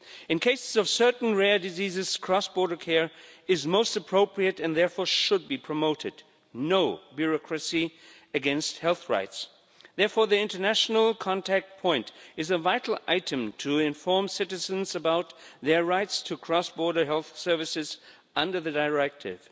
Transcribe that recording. In cases of certain rare diseases, cross border care is most appropriate and therefore should be promoted, with no bureaucracy against health rights. Therefore the international contact point is a vital item to inform citizens about their rights to cross border health services under the directive.